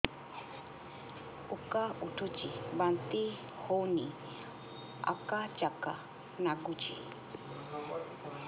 ଉକା ଉଠୁଚି ବାନ୍ତି ହଉନି ଆକାଚାକା ନାଗୁଚି